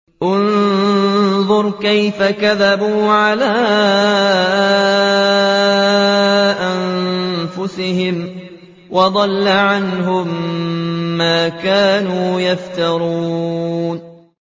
انظُرْ كَيْفَ كَذَبُوا عَلَىٰ أَنفُسِهِمْ ۚ وَضَلَّ عَنْهُم مَّا كَانُوا يَفْتَرُونَ